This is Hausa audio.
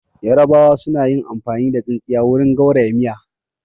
Yarabawa su man yi amfani da tsintsiya wurin gauraya miya